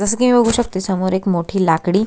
जसं कि मी बघू शकते समोर एक मोठी लाकडी--